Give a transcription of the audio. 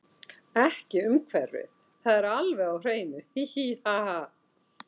Ekki umhverfið það er alveg á hreinu, hí, hí ha, ha.